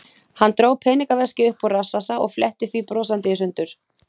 Hann dró peningaveski upp úr rassvasa og fletti því brosandi í sundur.